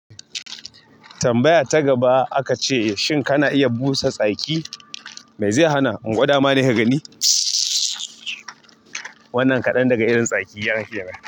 Tambaya ta gaba aka ce, shin kana iya busa tsaki? Mai zai hana? In gwada ma ne ka gani? Wannan kaɗan daga irin tsakina kenan.